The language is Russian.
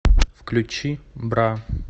включи бра